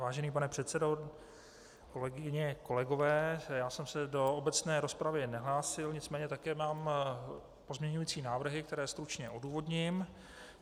Vážený pane předsedo, kolegyně, kolegové, já jsem se do obecné rozpravy nehlásil, nicméně také mám pozměňující návrhy, které stručně odůvodním.